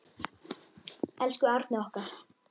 Elsku Árni okkar.